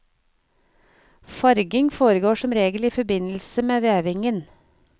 Farging foregår som regel i forbindelse med vevingen.